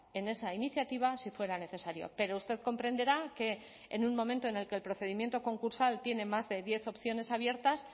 en esa iniciativa si fuera necesario pero usted comprenderá que en un momento en el que el procedimiento concursal tiene más de diez opciones abiertas